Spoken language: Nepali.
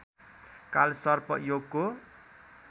कालसर्प योगको